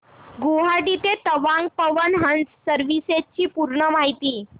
गुवाहाटी ते तवांग पवन हंस सर्विसेस ची पूर्ण माहिती